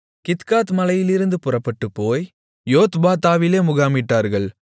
Gidgad மலையிலிருந்து புறப்பட்டுப்போய் யோத்பாத்தாவிலே முகாமிட்டார்கள்